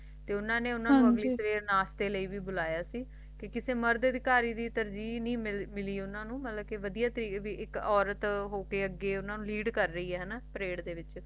ਤੇ ਉਨ੍ਹਾਂ ਨੇ ਉਨ੍ਹਾਂ ਨੂ ਹਾਂਜੀ ਆਪਣੇ ਕੋਲ ਨਾਸ਼ਤੇ ਦੇ ਵਾਸਤੇ ਭੀ ਬੁਲਾਇਆ ਸੀ ਤੇ ਕਿਸੀ ਮਰਦ ਸੰਤਕਾਰੀ ਤੋਤਾਰਜੀਹ ਨਹੀਂ ਮਿਲੀ ਉਨ੍ਹਾਂ ਨੂੰ ਇਕ ਔਰਤ ਹੋ ਕ ਲੀਡ ਕਰ ਰਹੀ ਹੈ ਉਨ੍ਹਾਂ ਨੂੰ ਮਤਲਬ ਅਗੈ